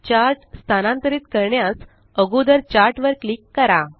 chart स्तानांतरित करण्यास अगोदर चार्ट वर क्लिक करा